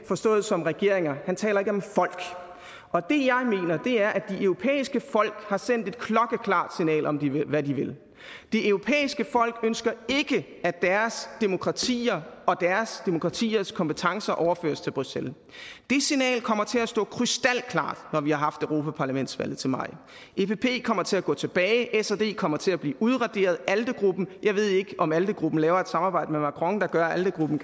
forstået som regeringer han taler ikke om folk og det jeg mener er at de europæiske folk har sendt et klokkeklart signal om hvad de vil det europæiske folk ønsker ikke at deres demokratier og deres demokratiers kompetencer overføres til bruxelles det signal kommer til at stå krystalklart når vi har haft europaparlamentsvalget til maj epp kommer til at gå tilbage sd kommer til at blive udraderet jeg ved ikke om alde gruppen laver et samarbejde med macron der gør at alde gruppen